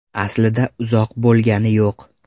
Aslida uzoq bo‘lgani yo‘q.